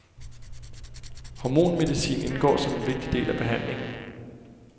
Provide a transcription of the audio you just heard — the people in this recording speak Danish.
Hormonmedicin indgår som en vigtig del af behandlingen.